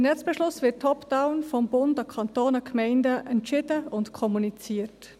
Weil: Der Netzbeschluss wird top-down vom Bund an die Kantone und die Gemeinden entschieden und kommuniziert.